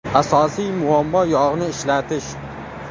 Asosiy muammo yog‘ni ishlatish.